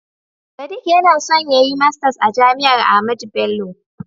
Sadiq yana son yayi masters a jami'ar Ahmadu Bello.